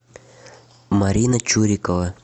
марина чурикова